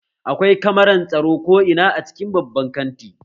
Akwai kamaran tsaro ko ina a cikin babban kanti